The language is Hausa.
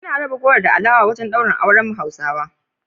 Ana raba goro da alewa a wajen daurin auren Hausawa